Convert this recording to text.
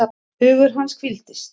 Hugur hans hvíldist.